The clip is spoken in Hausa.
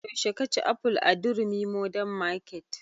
Yaushe ka ci aful a durumi modern market?